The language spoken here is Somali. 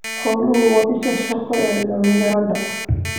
Xooluhu waa isha shaqo ee dhalinyarada.